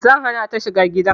Zan hana ta shiga gidan